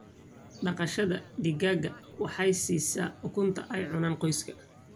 Dhaqashada digaaga waxay siisaa ukunta ay cunaan qoyska.